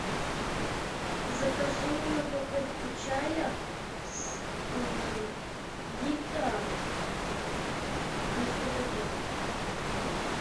закажи мне упаковку чая с гита на сто пакетов